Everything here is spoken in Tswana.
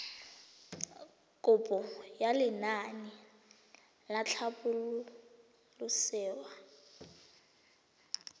kopo ya lenaane la tlhabololosewa